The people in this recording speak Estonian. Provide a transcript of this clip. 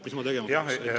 Mis ma tegema peaks?